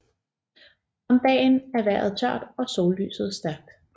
Om dagen er vejret tørt og sollyset stærkt